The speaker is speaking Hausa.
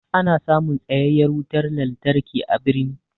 Ana samun tsayayyan wutan lantarki a birni.